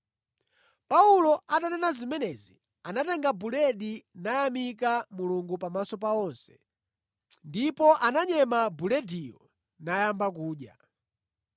Paulo atanena zimenezi, anatenga buledi nayamika Mulungu pamaso pa onse. Ndipo ananyema bulediyo nayamba kudya.